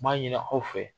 N b'a ɲini aw fɛ